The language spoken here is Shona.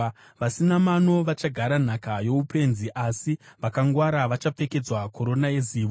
Vasina mano vachagara nhaka youpenzi, asi vakangwara vachapfekedzwa korona yezivo.